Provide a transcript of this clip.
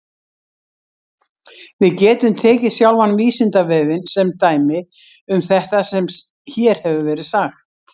Við getum tekið sjálfan Vísindavefinn sem dæmi um þetta sem hér hefur verið sagt.